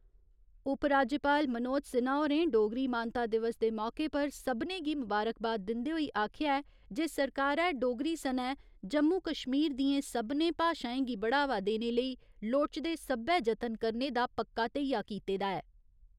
उपराज्यपाल मनोज सिन्हा होरें डोगरी मानता दिवस दे मौके पर सभनें गी मबारकबाद दिंदे होई आखेआ ऐ जे सरकारै डोगरी सनै जम्मू कश्मीर दियें सभनें भाशाएं गी बढ़ावा देने लेई लोड़चदे सब्बै जतन करने दा पक्का धेइया कीते दा ऐ।